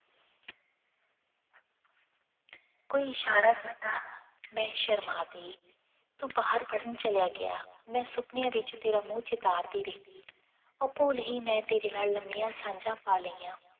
ਕੋਈ ਇਸ਼ਾਰਾ ਕੀਤਾ ਮੈਂ ਸ਼ਰਮਾ ਗਈ, ਤੂੰ ਬਾਹਰ ਪੜ੍ਹਨ ਚਲਿਆ ਗਿਆ, ਮੈਂ ਸੁਪਨਿਆਂ ਵਿੱਚ ਤੇਰਾਂ ਮੂੰਹ ਚਿਤਾਰਦੀ ਰਹੀ, ਅਭੁੱਲ ਹੀ ਮੈਂ ਤੇਰੇ ਨਾਲ ਲੰਮੀਆਂ ਸਾਂਝਾ ਪਾ ਲਈਆਂ।